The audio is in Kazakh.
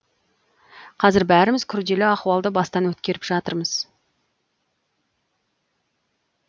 қазір бәріміз күрделі ахуалды бастан өткеріп жатырмыз